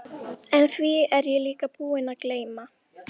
En því er ég líka búinn að gleyma.